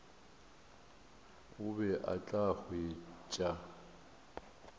o be o tla hwetša